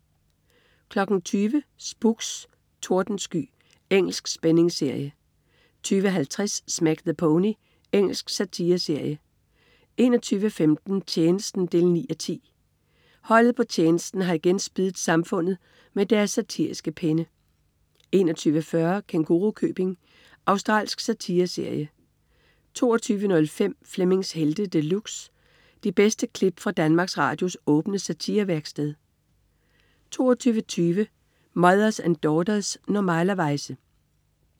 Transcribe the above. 20.00 Spooks: Tordensky. Engelsk spændingsserie 20.50 Smack the Pony. Engelsk satireserie 21.15 Tjenesten 9:10. Holdet på Tjenesten har igen spiddet samfundet med deres satiriske penne 21.40 Kængurukøbing. Australsk satireserie 22.05 Flemmings Helte De Luxe. De bedste klip fra Danmarks Radios åbne satirevæksted 22.20 Mothers and Daughters. Normalerweize